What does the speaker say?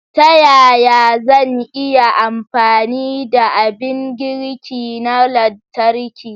Ta yaya zan iya amfani da abin girki na lantarki?